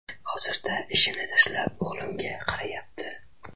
Hozirda ishini tashlab, o‘g‘limga qarayapti.